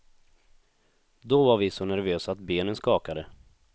Då var vi så nervösa att benen skakade.